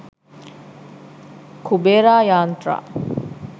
kubera yantra